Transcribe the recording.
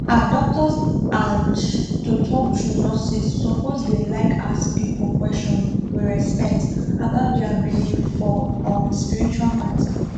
ah doctors and to talk true nurses suppose dey like ask people question with respect about dia believe for um spiritual matter